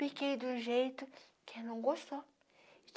Piquei do jeito que ela não gostou.